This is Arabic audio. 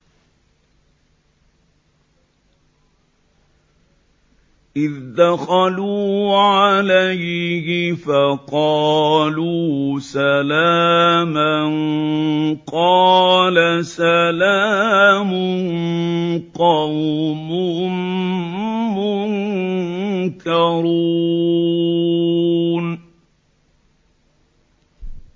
إِذْ دَخَلُوا عَلَيْهِ فَقَالُوا سَلَامًا ۖ قَالَ سَلَامٌ قَوْمٌ مُّنكَرُونَ